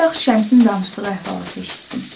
Bayaq Şəmsin danışdığı əhvalatı eşitdim.